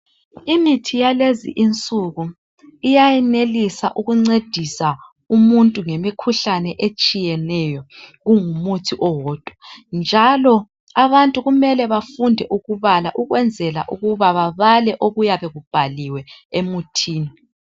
Imithi yalezi insuku iyayenelisa ukuncedisa umuntu ngemikhuhlane etshiyeneyo kungumuthi owodwa njalo abantu kumele bafunde ukubala ukwenzela ukuba babale okuyabe kubhaliwe emuthini